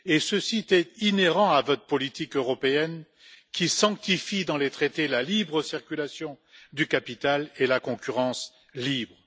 Ceci est inhérent à votre politique européenne, qui sanctifie, dans les traités, la libre circulation du capital et la concurrence libre.